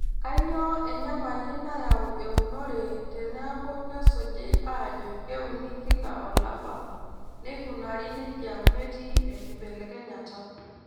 Kainyioo enyamali nayau eunore teneeku kesuji aajo keuni kila olapa neikunari neija metii enkibelekenyata.